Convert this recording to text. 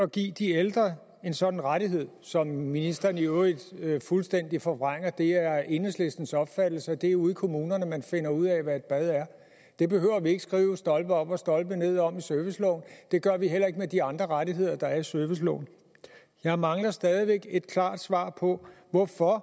at give de ældre en sådan rettighed som ministeren i øvrigt fuldstændig forvrænger det er enhedslistens opfattelse at det er ude i kommunerne man finder ud af hvad et bad er det behøver vi ikke skrive stolpe op og stolpe ned om i serviceloven det gør vi heller ikke med de andre rettigheder der er i serviceloven jeg mangler stadig væk et klart svar på hvorfor